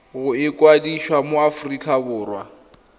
go ikwadisa mo aforika borwa